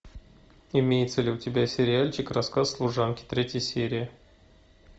имеется ли у тебя сериальчик рассказ служанки третья серия